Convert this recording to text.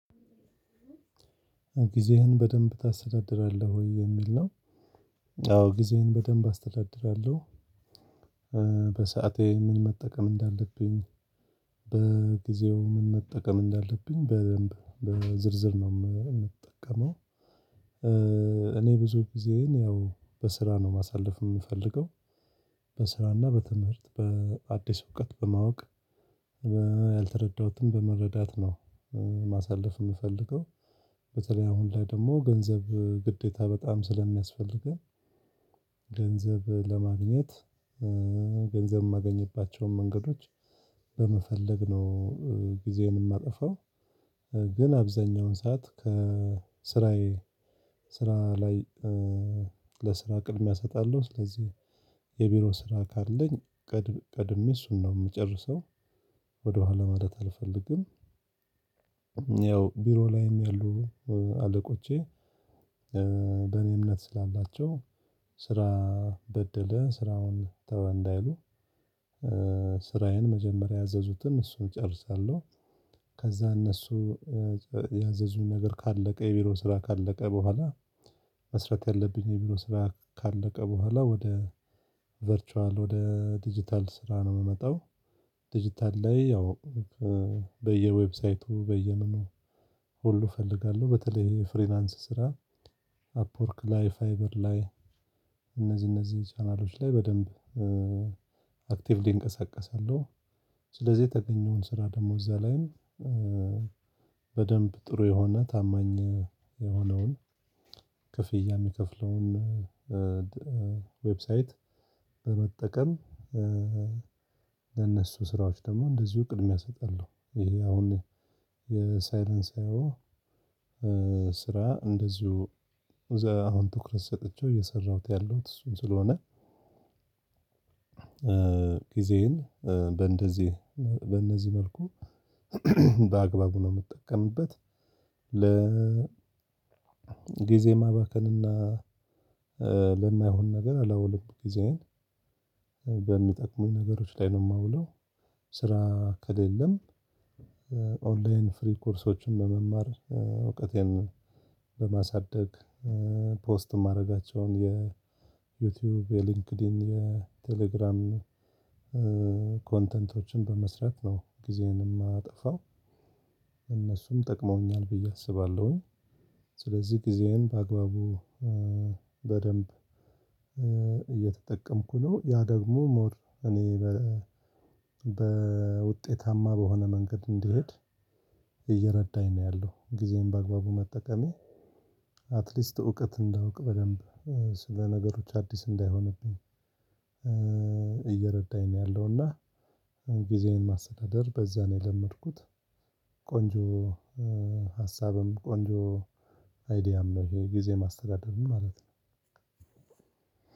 ጊዜህን በደንብ ታስተዳድራለህ ወይ የሚል ነው? አዎ ጊዜዬን በደንብ አስተዳድራለሁ። በሰአቴ ምን መጠቀም እንዳለብኝ በጊዜው ምን መጠቀም እንዳለብኝ በደንብ በዝርዝር ነው የምጠቀመው። እኔ ብዙ ጊዜዬን ያው በስራ ነው ማሳለፍ እምፈልገው። በስራና በትምህርት በአዲስ እውቀት በማወቅ ያልተረዳሁትን በመረዳት ነው ማሳለፍ የምፈልገው። በተለይ አሁን ላይ ደሞ ገንዘብ ግዴታ በጣም ስለሚያስፈልገኝ። ገንዘብ ለማግኘት ገንዘብ ማገኝባቸውን መንገዶች በመፈለግ ነው ጊዜዬን ማጠፋው። ግን አብዛኛውን ሰዓት ከስራዬ ስራ ላይ። ለስራ ቅድሚያ ሰጣለሁ ስለዚህ የቢሮ ስራ ካለኝ ቀድሜ እሱን ነው ምጨርሰው ወደኋላ ማለት አልፈልግም። ያው ቢሮ ላይም ያሉ አለቆቼ በእኔ እምነት ስላላቸው ስራ በደለ ስራውን ተወ እንዳይሉ ስራዬን መጀመሪያ ያዘዙትን እሱን ጨርሳለሁ። ከዛ እነሱ ያዘዙኝ ነገር ካለቀ የቢሮ ስራ ካለቀ በኋላ። መስረት ያለብኝ የቢሮ ስራ ካለቀ በኋላ ወደ ቨርቹዋል ወደ ዲጂታል ስራ ነው ምመጣው። ዲጂታል ላይ ያው በየዌብሳይቱ በየምኑ ሁሉ ፈልጋለሁ በተለይ ፍሪላንስ ስራ አፕወርክ ላይ ፋይበር ላይ እነዚህ እነዚህ ቻናሎች ላይ በደንብ አክቲቭሊ እንቀሳቀሳለሁ። ስለዚህ የተገኘውን ስራ ደሞ እዛ ላይም በደንብ ጥሩ የሆነ ታማኝ የሆነውን ክፍያ ሚከፍለውን ዌብሳይት በመጠቀም። ለነሱ ስራዎች ደሞ እንደዚሁ ቅድሚያ እሰጣለሁ ይሄ አሁን የሳይለንሳዊው ስራ እንደዚሁ እዛ አሁን ትኩረት ሰጥቼው እየሰራሁት ያለሁት እሱን ስለሆነ። ጊዜዬን በእንደዚህ በእነዚህ መልኩ በአግባቡ ነው ምጠቀምበት። ለ ጊዜ ማባከንና ለማይሆን ነገር አላውልም ጊዜዬን በሚጠቅሙኝ ነገሮች ላይ ነው ማውለው። ስራ ከሌለም ኦንላይን ፍሪ ኮርሶችን በመማር እውቀቴን በማሳደግ ፖስት ማረጋቸውን የዩቲዩብ የሊንክድኢን የቴሌግራም ኮንተንቶችን በመስራት ነው ጊዜዬን ማጠፋው። እነሱም ጠቅመውኛል ብዬ አስባለሁኝ። ስለዚህ ጊዜዬን በአግባቡ በደንብ እየተጠቀምኩ ነው። ያ ደግሞ ሞር እኔ በ በውጤታማ በሆነ መንገድ እንድሄድ እየረዳኝ ነው ያለው። ጊዜን በአግባቡ መጠቀሜ አትሊስት እውቀት እንዳውቅ በደንብ ስለ ነገሮች አዲስ እንዳይሆንብኝ። እየረዳኝ ነው ያለውና ጊዜዬን ማስተዳደር በዛ ነው የለመድኩት። ቆንጆ ሀሳብም ቆንጆ አይዲያም ነው ይሄ ጊዜ ማስተዳደርም ማለት ነው።